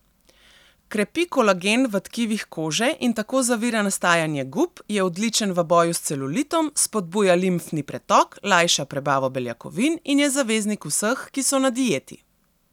Krepi kolagen v tkivih kože in tako zavira nastajanje gub, je odličen v boju s celulitom, spodbuja limfni pretok, lajša prebavo beljakovin in je zaveznik vseh, ki so na dieti.